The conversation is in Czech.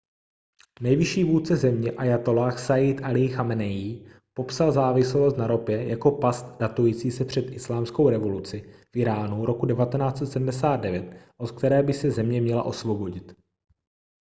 nejvyšší vůdce země ájatolláh sajjid alí chameneí popsal závislost na ropě jako past datující se před islámskou revoluci v íránu roku 1979 od které by se země měla osvobodit